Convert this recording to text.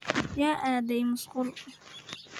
Yaa aadhey maasqul.